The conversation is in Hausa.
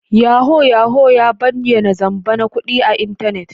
Yahoo Yahoo ya bayyana zamba na kudi a intanet.